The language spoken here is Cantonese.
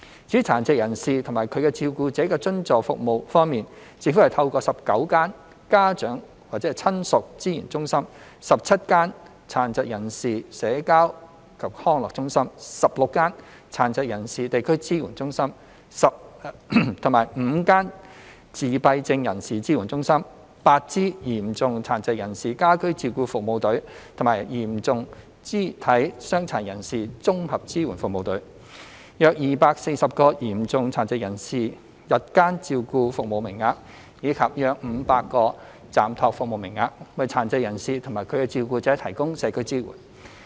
至於殘疾人士及其照顧者的津助服務方面，政府透過19間家長/親屬資源中心、17間殘疾人士社交及康樂中心、16間殘疾人士地區支援中心、5間自閉症人士支援中心、8支嚴重殘疾人士家居照顧服務隊及嚴重肢體傷殘人士綜合支援服務隊、約240個嚴重殘疾人士日間照顧服務名額，以及約500個暫託服務名額，為殘疾人士及其照顧者提供社區支援。